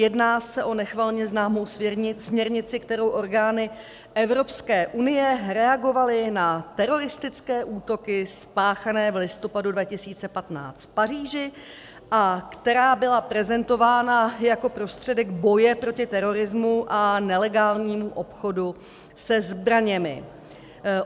Jedná se o nechvalně známou směrnici, kterou orgány Evropské unie reagovaly na teroristické útoky spáchané v listopadu 2015 v Paříži a která byla prezentována jako prostředek boje proti terorismu a nelegálnímu obchodu se zbraněmi.